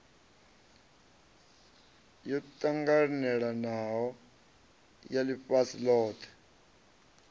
yo ṱanganelanaho ya ḽifhasi ḽothe